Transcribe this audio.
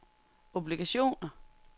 obligationer